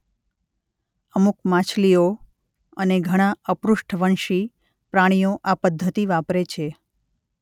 અમુક માછલીઓ અને ઘણાં અપૃષ્ઠવંશી પ્રાણીઓ આ પદ્ધતિ વાપરે છે.